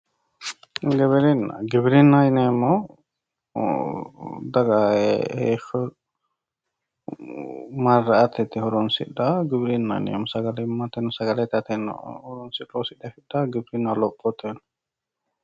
Giwirinna, giwirinnaho yineemmohu daga heeshsho mara'ate yite horonsidhanoha giwirinnaho yineemmo sagalimmate, sagale ittateno loonseemmotta lophoteno giwirinnaho